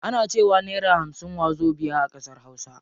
Ana cewa naira hamsin wazobiya a ƙasar hausa.